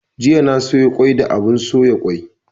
Jiya na soya kwai da abun soya kwai